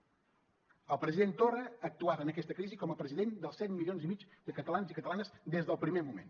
el president torra ha actuat en aquesta crisi com a president dels set milions i mig de catalans i catalanes des del primer moment